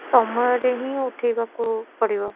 ସମୟରେ ହିଁ ଉଠେଇବାକୁ ପଡିବ